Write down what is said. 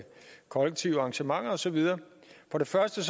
kollektive arrangementer og så videre for det første